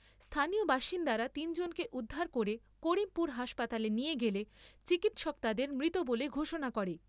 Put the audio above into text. স্হানীয় বাসিন্দারা তিনজনকে উদ্ধার করে করিমপুর হাসপাতালে নিয়ে গেলে চিকিৎসক তাদের মৃত বলে ঘোষণা করে ।